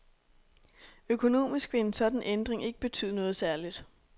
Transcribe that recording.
Økonomisk vil en sådan ændring ikke betyde noget særligt.